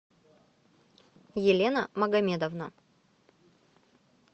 елена магомедовна